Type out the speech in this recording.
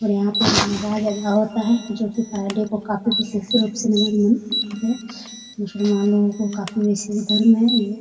और यहाँ पे नवाज अदा होता है जो की पहले को काफी होते हैं मुसलमानों को काफी धर्म है ये ।